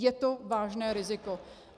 Je to vážné riziko.